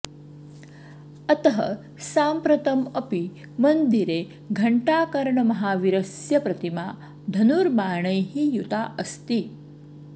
अतः साम्प्रतम् अपि मन्दिरे घण्टाकर्णमहावीरस्य प्रतिमा धनुर्बाणैः युता अस्ति